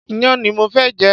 Iyán ni mo fẹ́ jẹ